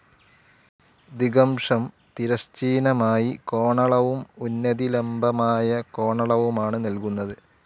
ദിഗംശം തിരശ്ചീനമായി കോണളവും ഉന്നതി ലംബമായ കോണളവുമാണ് നൽകുന്നത്.